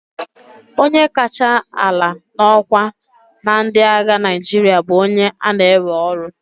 onye kacha ala n'ọkwa na ndị agha Naịjirịa bụ onye a na-ewe ọrụ